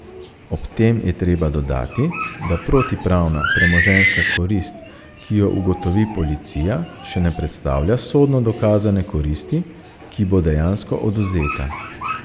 Ob tem je treba dodati, da protipravna premoženjska korist, ki jo ugotovi policija, še ne predstavlja sodno dokazane koristi, ki bo dejansko odvzeta.